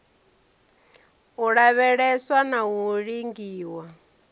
u lavheleswa na u lingiwa